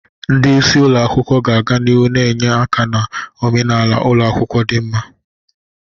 Ndị isi ụlọ akwụkwọ ga-aga n'ihu na-enye aka na omenala ụlọ akwụkwọ dị mma.